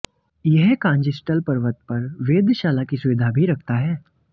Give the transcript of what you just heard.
यह कांजिस्टहल पर्वत पर वेधशाला की सुविधा भी रखता है